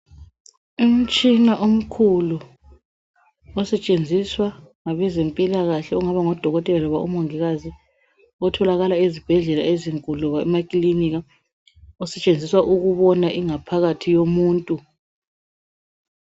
Umtshina omkhulu osetshenziswa ngabezempilakahle okungaba ngodokotela kumbe omongikazi otholakala ezibhedlela ezinkulu loba emakilinika, osetshenziswa ukubona ingaphakathi yomuntu.